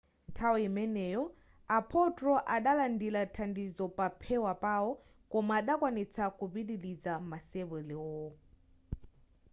nthawi imeneyi a potro adalandira thandizo paphewa pawo koma adakwanitsa kupitiliza masewerowo